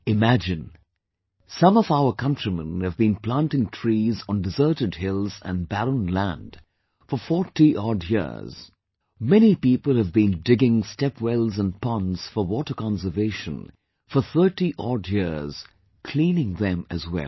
Imagine, some of our countrymen have been planting trees on deserted hills and barren land for 40 odd years, many people have been digging stepwells and ponds for water conservation for 30 odd years, cleaning them as well